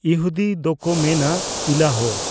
ᱤᱦᱩᱫᱤ ᱫᱚᱠᱚ ᱢᱮᱱᱟ ᱤᱞᱟᱦ᱾